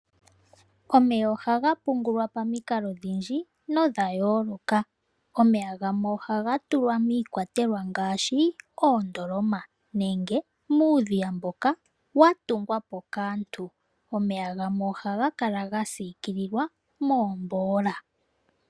Omeya ohaga pungulwa pamikalo odhindji nodha yooloka. Omeya gamwe ohaga tulwa miikwatelwa ngaashi, oondoloma, nenge muudhiya mboka wa tungwa po kaantu gamwe ohaga sikililwa moombola.